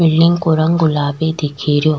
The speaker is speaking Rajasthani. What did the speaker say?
बिल्डिंग को रंग गुलाबी दिख रो।